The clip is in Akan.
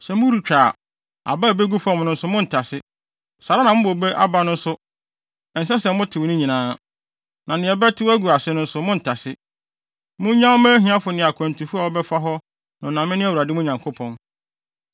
Saa ara na mo bobe so aba no nso, ɛnsɛ sɛ motew ne nyinaa. Na nea ɛbɛtew agu ase no nso, monntase. Munnyaw mma ahiafo ne akwantufo a wɔbɛfa hɔ no na mene Awurade mo Nyankopɔn.